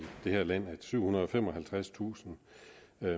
det her land at syvhundrede og femoghalvtredstusind